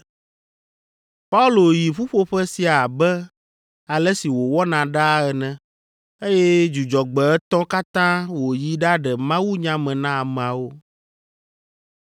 Paulo yi ƒuƒoƒe sia abe ale si wòwɔna ɖaa ene, eye Dzudzɔgbe etɔ̃ katã wòyi ɖaɖe mawunya me na ameawo.